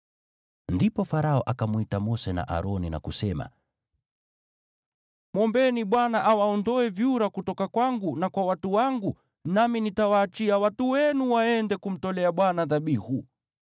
Ndipo Farao akamwita Mose na Aroni na kusema, “Mwombeni Bwana awaondoe vyura kutoka kwangu na kwa watu wangu, nami nitawaachia watu wenu waende kumtolea Bwana dhabihu.”